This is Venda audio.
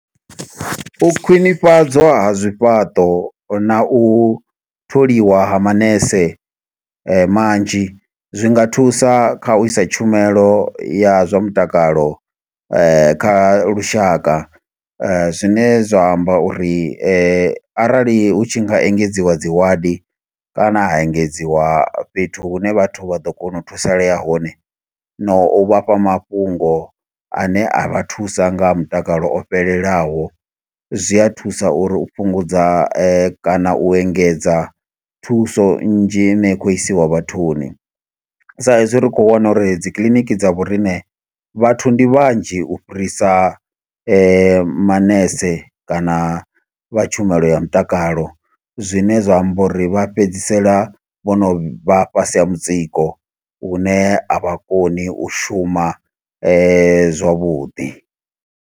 U khwinifhadzwa ha zwifhaṱo na u tholiwa ha manese manzhi, zwi nga thusa kha u isa tshumelo ya zwa mutakalo kha lushaka. Zwine zwa amba uri arali hu tshi nga engedziwa dzi ward, kana ha engedziwa fhethu hune vhathu vha ḓo kona u thusalea hone, no u vhafha mafhungo ane a vha thusa nga mutakalo o fhelelaho. Zwi a thusa uri u fhungudza kana u engedza thuso nnzhi i ne ya khou isiwa vhathuni. Sa izwi ri khou wana uri dzi kiliniki dza vhoriṋe, vhathu ndi vhanzhi u fhirisa manese kana vha tshumelo ya mutakalo. Zwine zwa amba uri vha fhedzisela vho no vha fhasi ha mutsiko, lune a vha koni u shuma zwavhuḓi.